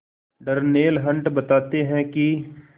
Darnell Hunt बताते हैं कि